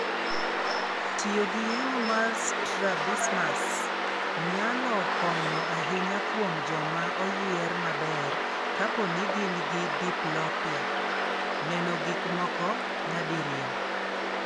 Tiyo gi yeng'o mar Strabismus nyalo konyo ahinya kuom joma oyier maber kapo ni gin gi diplopia (neno gik moko nyadiriyo).